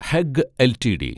Hague LTD